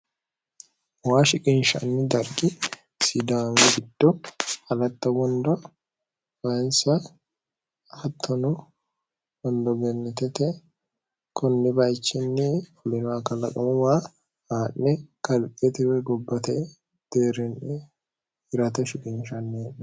moya shiqinshanni dargi sidaamorito alatta wondo fayinsa hattono wondo gennetete kunni bayichinni hulinoklaqamu waa aa'ne kaletewe gobbate deerinni irate shiqinshanni